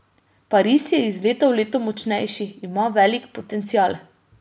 Pariz je iz leta v leto močnejši, ima velik potencial.